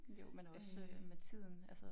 Jo men også med tiden altså